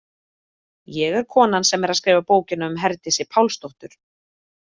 Ég er konan sem er að skrifa bókina um Herdísi Pálsdóttur.